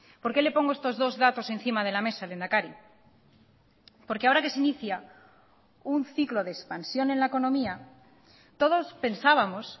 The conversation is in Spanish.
por qué le pongo estos dos datos encima de la mesa lehendakari porque ahora que se inicia un ciclo de expansión en la economía todos pensábamos